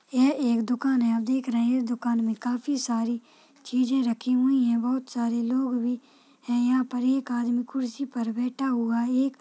यह एक दुकान है आप देख रहे है इस दुकान में काफी सारी चीजे रखी हुई है बहुत सारे लोग भी है यहां पर एक आदमी कुर्सी पर बैठा हुआ है एक --